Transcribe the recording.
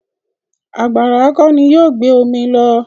Àgbàrá kọ́ ni yóò gbé omi lọ.